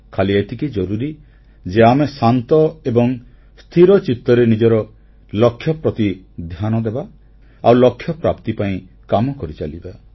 ଖାଲି ଏତିକି ଜରୁରୀ ଯେ ଆମେ ଶାନ୍ତ ଏବଂ ସ୍ଥିର ଚିତ୍ତରେ ନିଜର ଲକ୍ଷ୍ୟ ପ୍ରତି ଧ୍ୟାନଦେବା ଆଉ ଲକ୍ଷ୍ୟପ୍ରାପ୍ତି ପାଇଁ କାମ କରିଚାଲିବା